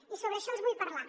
i sobre això els vull parlar